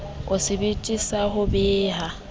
o sebete sa ho beha